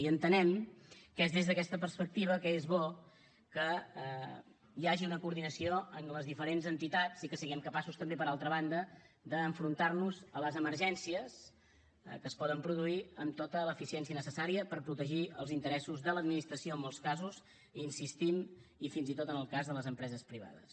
i entenem que és des d’aquesta perspectiva que és bo que hi hagi una coordinació amb les diferents entitats i que siguem capaços també per altra banda d’enfrontar nos a les emergències que es poden produir amb tota l’eficiència necessària per protegir els interessos de l’administració en molts casos hi insistim i fins i tot en el cas de les empreses privades